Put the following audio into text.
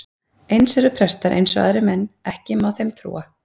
Eins eru prestar eins og aðrir menn, ekki má þeim trúa.